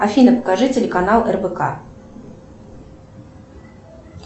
афина покажи телеканал рбк